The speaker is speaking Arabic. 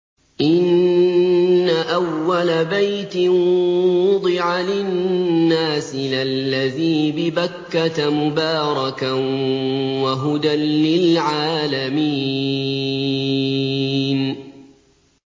إِنَّ أَوَّلَ بَيْتٍ وُضِعَ لِلنَّاسِ لَلَّذِي بِبَكَّةَ مُبَارَكًا وَهُدًى لِّلْعَالَمِينَ